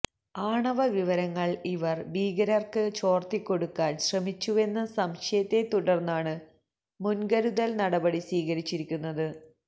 ആണവവിവരങ്ങൾ ഇവർ ഭീകരർക്ക് ചോർത്തിക്കൊടുക്കാൻ ശ്രമിച്ചുവെന്ന സംശയത്തെ തുടർന്നാണീ മുൻകരുതൽ നടപടി സ്വീകരിച്ചിരിക്കുന്നത്